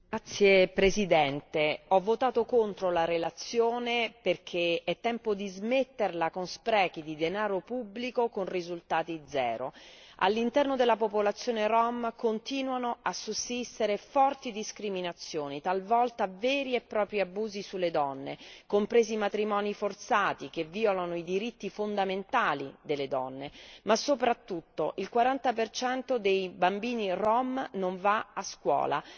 Signor Presidente, onorevoli colleghi, ho votato contro la relazione perché è tempo di smetterla con sprechi di denaro pubblico con risultati zero. All'interno della popolazione rom continuano a sussistere forti discriminazioni, talvolta veri e propri abusi sulle donne, compresi matrimoni forzati che violano i diritti fondamentali delle donne, ma soprattutto il 40 per cento dei bambini rom va a scuola,